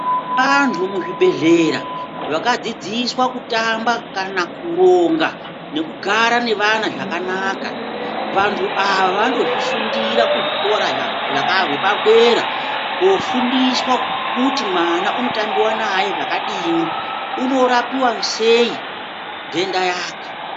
Antu muzvibhedhlera vakadzidzswa kutamba kana kuronga nekugara nevana zvakanaka Vantu Ava vanotozvifundira kuzvikora zvaka zvepadera kofundiswa kuti mwana unotambiwa naye zvakadini unorapiwa sei ntenda yake.